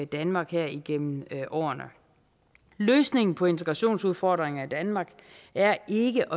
danmark her igennem årene løsningen på integrationsudfordringen i danmark er ikke